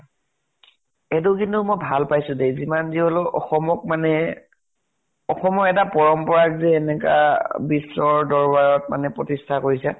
এইটো কিন্তু মই ভাল পাইছো দে, যিমান যি হলেও অসমক মানে অসমৰ এটা পৰম্পৰাক সে এনেকা বিশ্বৰ দৰ্বাৰত মানে প্ৰতিষ্ঠা কৰিছে।